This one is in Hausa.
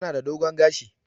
Tana da dogon gashi.